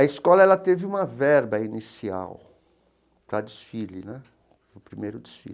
A escola ela teve uma verba inicial para desfile né o primeiro desfile.